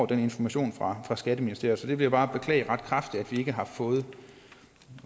den information fra skatteministeriet så jeg vil bare beklage ret kraftigt at vi ikke har fået